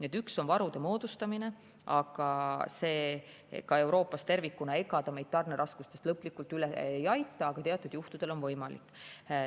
Ent üks asi on varude moodustamine, aga ega see meid Euroopas tervikuna tarneraskustest lõplikult üle ei aita, aga teatud juhtudel on abi võimalik.